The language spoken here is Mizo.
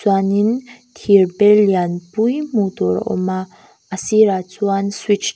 chuanin thirbel lianpui hmuh tur a awm a a sirah chuan switch --